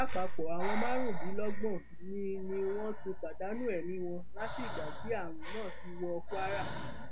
lápapọ àwọn márùndínlọgbọn ni ni wọn ti pàdánù ẹmí wọn láti ìgbà tí àrùn náà ti wọ kwara